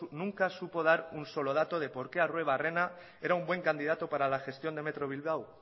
nunca supo dar ningún solo dato de por qué arruebarrena era un buen candidato para la gestión de metro bilbao